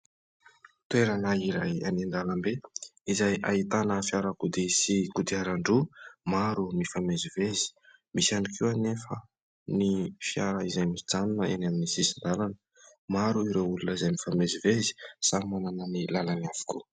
Toerana iray any an-dalambe izay ahitana fiarakodia sy godiaran-droa maro mifamezivezy. Misy ihany koa anefa ny fiara izay mijanona eny amin'ny sisin-dalana. Maro ireo olona izay mifamezivezy, samy manana ny lalany avokoa.